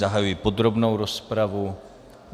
Zahajuji podrobnou rozpravu.